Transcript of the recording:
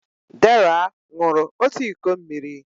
Deraa ṅụrụ òtù iko mmiri.